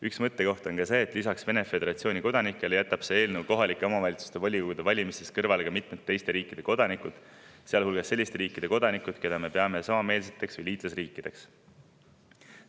Üks mõttekoht on see, et lisaks Vene föderatsiooni kodanikele jätab see eelnõu kohaliku omavalitsuse volikogu valimistest kõrvale ka mitmete teiste riikide kodanikud, sealhulgas selliste riikide kodanikud, keda me peame samameelseteks või liitlasriikideks.